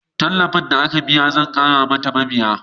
Tallafin da aka biya zai ƙara mata mabiya